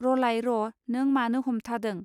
रलाय र' नों मानो हमथादों